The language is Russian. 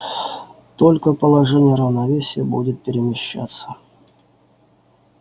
только положение равновесия будет перемещаться